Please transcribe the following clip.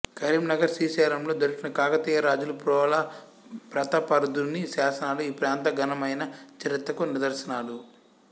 కరీంనగర్ శ్రీశైలం లలో దొరికిన కాకతీయ రాజులు ప్రోల ప్రతాపరుద్రుని శాసనాలు ఈ ప్రాంత ఘనమైన చరిత్రకు నిదర్శనాలు